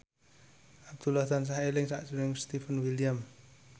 Abdullah tansah eling sakjroning Stefan William